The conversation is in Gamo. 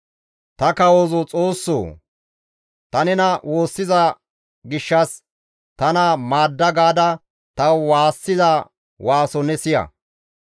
Ta kawozo Xoossoo! Ta nena woossiza gishshas tana maadda gaada ta waassiza waaso ne siya.